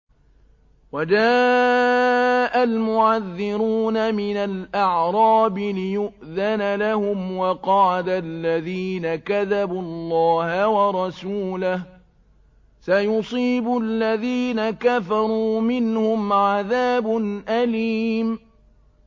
وَجَاءَ الْمُعَذِّرُونَ مِنَ الْأَعْرَابِ لِيُؤْذَنَ لَهُمْ وَقَعَدَ الَّذِينَ كَذَبُوا اللَّهَ وَرَسُولَهُ ۚ سَيُصِيبُ الَّذِينَ كَفَرُوا مِنْهُمْ عَذَابٌ أَلِيمٌ